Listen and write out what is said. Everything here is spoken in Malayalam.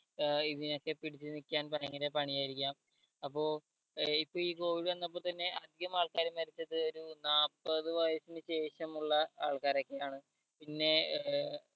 ഏർ ഇതിനൊക്കെ പിടിച്ച് നിക്കാൻ ഭയങ്കര പണിയായിരിക്കാം അപ്പോ ഏർ ഇപ്പൊ ഈ covid വന്നപ്പോ തന്നെ അധികം ആൾക്കാരും മരിച്ചത് ഒരു നാപ്പത് വയസ്സിന് ശേഷമുള്ള ആൾക്കാരൊക്കെ ആണ് പിന്നെ ഏർ